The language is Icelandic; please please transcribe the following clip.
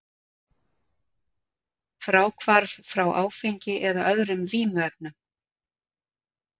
Fráhvarf frá áfengi eða öðrum vímuefnum.